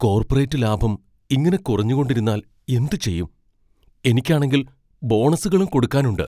Corporate ലാഭം ഇങ്ങനെ കുറഞ്ഞുകൊണ്ടിരുന്നാൽ എന്തുചെയ്യും? എനിക്കാണെങ്കിൽ ബോണസുകളും കൊടുക്കാനുണ്ട്.